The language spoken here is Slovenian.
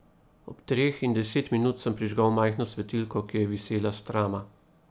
Ob treh in deset minut sem prižgal majhno svetilko, ki je visela s trama.